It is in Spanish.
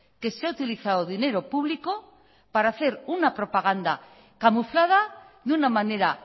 que se ha utilizado dinero público para hacer una propaganda camuflada de una manera